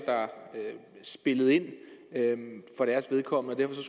spillede ind for deres vedkommende og